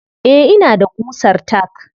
Eh ina da ƙusar tack.